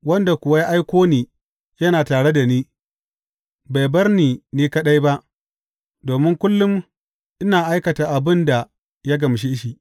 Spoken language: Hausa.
Wanda kuwa ya aiko ni yana tare da ni; bai bar ni ni kaɗai ba, domin kullum ina aikata abin da ya gamshe shi.